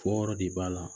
Fɔ yɔrɔ de b'a la